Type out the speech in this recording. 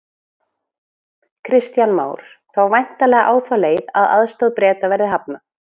Kristján Már: Þá væntanlega á þá leið að aðstoð Breta verði hafnað?